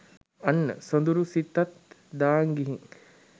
අන්න සොඳුරු සිතත් දාං ගිහින්